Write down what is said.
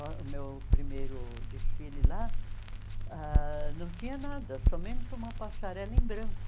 Oh o meu primeiro desfile lá ãh não tinha nada, somente uma passarela em branco.